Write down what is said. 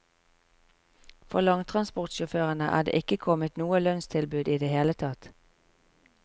For langtransportsjåførene er det ikke kommet noe lønnstilbud i det hele tatt.